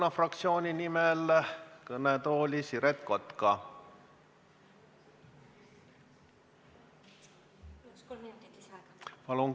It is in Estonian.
Järgmisena palun kõnetooli Siret Kotka Keskerakonna fraktsiooni nimel.